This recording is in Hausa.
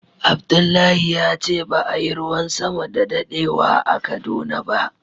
Abdullahi ya ce ba a Yi ruwan sama da dadewa a Kaduna ba.